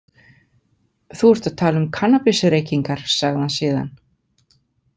Þú ert að tala um kannabisreykingar, sagði hann síðan.